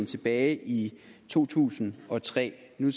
tilbage i to tusind og tre var